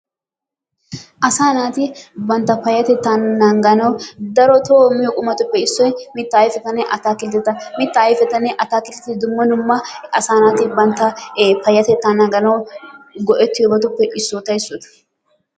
Asaa naati bantta payattettaa nanganawu darotoo miyoo qummatuppe issoy mittaa ayipettane atakitetta. Mittaa ayipettinne atakiltetti dumma dumma asaa naati bantta payatettaa nanganawu go'ettiyoobatuppe issota issota.